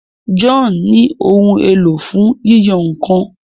John ní Ohun èlò fún yíyan nǹkan.